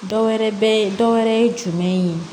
Dɔ wɛrɛ bɛ ye dɔ wɛrɛ ye jumɛn ye